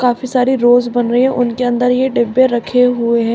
काफी सारी रोज बन रही है उनके अन्दर ये डिब्बे रखें हुये है।